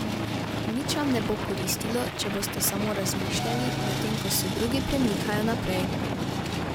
Nič vam ne bo koristilo, če boste samo razmišljali, medtem ko se drugi premikajo naprej.